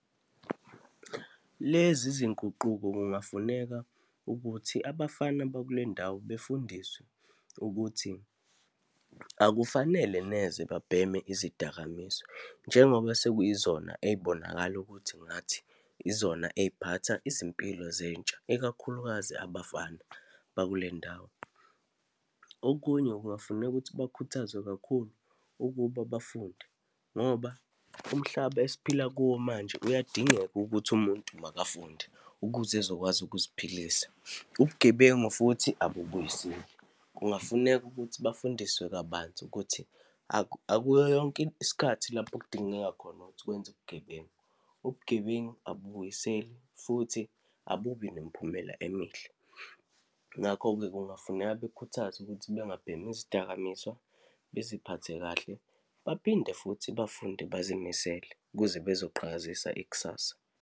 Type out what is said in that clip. Lezi zinguquko kungafuneka ukuthi abafana bakulendawo befundiswe, ukuthi akufanele neze babheme izidakamizwa, njengoba sekuyizona ey'bonakala ukuthi ngathi izona eyiphatha izimpilo zentsha, ikakhulukazi abafana bakulendawo. Okunye, kungafuneka ukuthi bakhuthazwe kakhulu ukuba bafunde, ngoba umhlaba esiphila kuwo manje, uyadingeka ukuthi umuntu makafunde ukuze ezokwazi ukuziphilisa. Ubugebengu futhi abubuyiseli, kungafuneka ukuthi bafundiswe kabanzi ukuthi akuyo yonke isikhathi lapho kudingeka khona ukuthi kwenze ubugebengu. Ubugebengu abubuyiseli futhi abubi nemiphumela emihle. Ngakho-ke kungafuneka bekhuthazwe ukuthi bengabhemi izidakamizwa, baziphathe kahle, baphinde futhi bafunde, bazimisele ukuze bezoqhakazisa ikusasa.